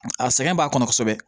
A sɛgɛn b'a kɔnɔ kosɛbɛ